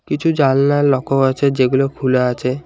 কিছু জালনা লকও আছে যেগুলো খুলা আছে।